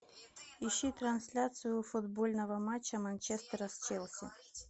ищи трансляцию футбольного матча манчестера с челси